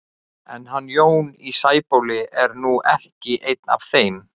En hann Jón í Sæbóli er nú ekki einn af þeim.